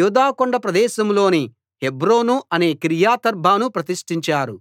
యూదా కొండ ప్రదేశంలోని హెబ్రోను అనే కిర్యతర్బాను ప్రతిష్ఠించారు